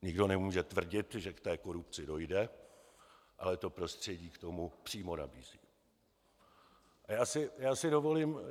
Nikdo nemůže tvrdit, že k té korupci dojde, ale to prostředí k tomu přímo vybízí.